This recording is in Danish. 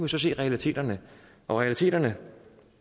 så se realiteterne og realiteterne